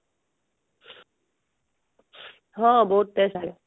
ହଁ ବହୁତ test ଥାଏ